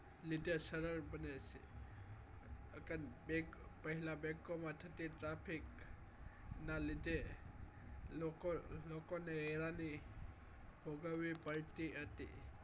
લીધે સરળ બને છે અગર bank પહેલા bank માં થતી traffic ના લીધે લોકો લોકોને હેરાની ભોગવી પડતી હતી